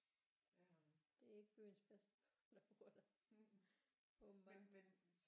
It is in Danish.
Det er ikke byens bedste børn der bor der åbentbart